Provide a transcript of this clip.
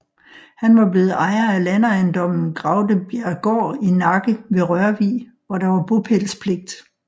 Han var blevet ejer af landejendommen Graudebjerggaard i Nakke ved Rørvig hvor der var bopælspligt